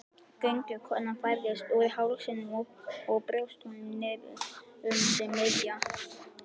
Göngukonan færðist úr hálsinum og brjóstholinu niður um sig miðja.